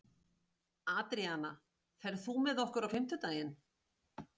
Adríana, ferð þú með okkur á fimmtudaginn?